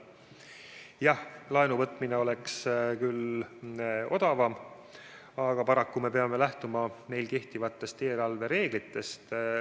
Jah, laenu võtmine oleks küll odavam, aga paraku me peame lähtuma meil kehtivatest eelarvereeglitest.